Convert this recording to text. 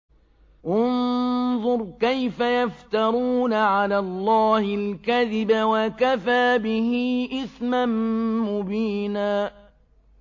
انظُرْ كَيْفَ يَفْتَرُونَ عَلَى اللَّهِ الْكَذِبَ ۖ وَكَفَىٰ بِهِ إِثْمًا مُّبِينًا